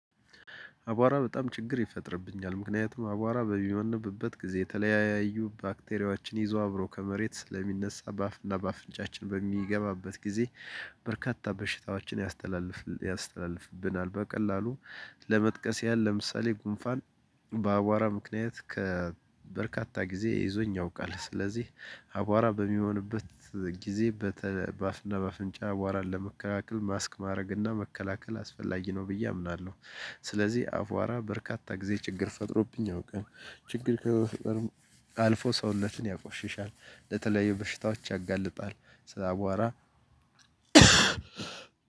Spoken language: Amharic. አቧራ በጣም ችግር ይፈጥርብኛል ምክንያቱም አቧራ በሚሆንብበት ጊዜ የተለያዩ ባክቴሪያችን ይዞ አብሮ ከመሬት ለሚነሳ በአፍና በአፍንጫችን በሚገባበት ጊዜ በርካታ በሽታዎችን ያስተላልፍ ያስተላልፍብናል በቀላሉ። ለመጥቀስ ያለ ለምሳሌ ጉንፋን። በአቧራ ምክንያት ከበርካታ ጊዜ ይዞኝ ያውቃል። ስለዚህ አቧራ በሚሆንበት ጊዜ በአፍና በአፍንጫ አቧራን ለመከላከል ማስክ ማድረግና መከላከል አስፈላጊ ነው ብዬ አምናለሁ። ስለዚህ አቧራ በርካታ ጊዜ ችግር ፈጥሮብኝ ያውቃል። ችግር ከመፍጠርም አልፎ ሰውነትን ያቆሽሻል። ለተለየ በሽታዎች ያጋልጣል። ስለ አቧራ